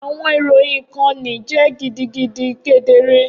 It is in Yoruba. Awọn iroyin ikanni jẹ gidigidi kedere